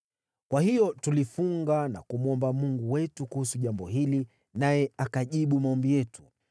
Kwa hiyo tulifunga na kumwomba Mungu wetu kuhusu jambo hili, naye akajibu maombi yetu.